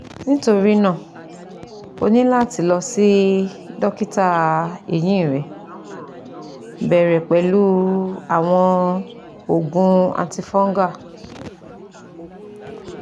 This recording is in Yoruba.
Nitorina o ni lati lọ si dokita ehin rẹ bẹrẹ pẹlu awọn oogun antifungal